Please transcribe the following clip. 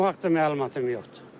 O haqda məlumatım yoxdur.